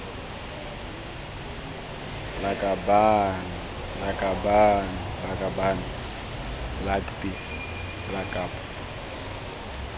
lakabaaan lakabaaan lakaban lakbi lakab